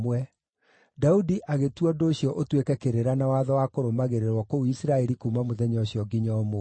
Daudi agĩtua ũndũ ũcio ũtuĩke kĩrĩra na watho wa kũrũmagĩrĩrwo kũu Isiraeli kuuma mũthenya ũcio nginya ũmũthĩ.